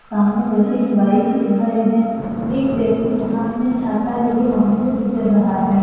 सामने दो तीन बाइक भी खड़े हैं एक व्यक्ति हाथ में छाता लिए वहां से गुजर रहा है।